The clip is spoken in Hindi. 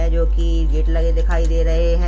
है जो कि गेट लगे दिखाई दे रहे हैं।